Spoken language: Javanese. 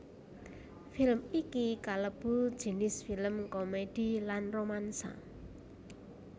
Film iki kalebu jinis film komèdi lan romansa